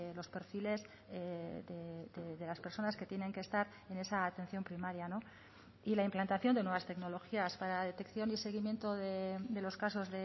los perfiles de las personas que tienen que estar en esa atención primaria y la implantación de nuevas tecnologías para la detección y seguimiento de los casos